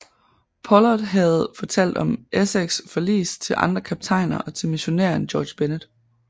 Pollard havde fortalt om Essexs forlis til andre kaptajner og til missionæren George Bennet